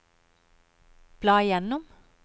bla gjennom